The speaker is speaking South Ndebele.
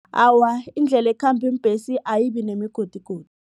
Awa, indlela ekhamba iimbhesi ayibinemigodigodi.